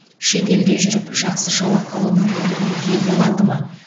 шет елде жүріп жақсы жалақы алу мүмкіндігіне ие бола алды ма